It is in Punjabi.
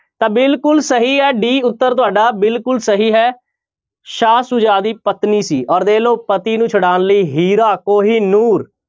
ਤਾਂ ਬਿਲਕੁਲ ਸਹੀ ਹੈ d ਉੱਤਰ ਤੁਹਾਡਾ ਬਿਲਕੁਲ ਸਹੀ ਹੈ ਸ਼ਾਹ ਸੁਜਾ ਦੀ ਪਤਨੀ ਸੀ ਔਰ ਦੇਖ ਲਓ ਪਤੀ ਨੂੰ ਛੁਡਾਉਣ ਲਈ ਹੀਰਾ ਕੋਹੀਨੂਰ।